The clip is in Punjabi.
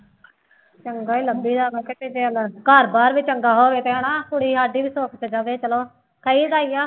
ਚੰਗਾ ਹੀ ਲੱਭੀਦਾ ਘਰ ਬਾਰ ਵੀ ਚੰਗਾ ਹੋਵੇ ਤੇ ਹਨਾ ਕੁੜੀ ਸਾਡੀ ਵੀ ਸੁੱਖ ਚ ਰਵੇ ਚਲੋ ਕਹੀਦਾ ਹੀ ਆ।